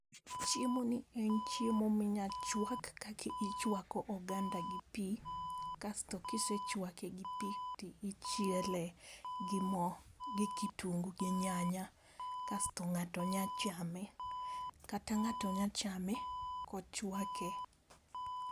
Chiemo ni en chiemo minya chwak kaka ichwako oganda gi pii kasto kisechwake gi pii tichiele gi moo, gi kitungu, gi nyaya kasto ng'ato nya chame kata ng'ato nya chame kochwake.